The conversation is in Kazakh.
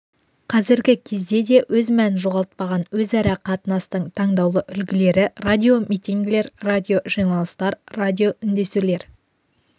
қазіргі кезде де өз мәнін жоғалтпаған өзара қатынастың таңдаулы үлгілері радиомитингілер радиожиналыстар радиоүндесулер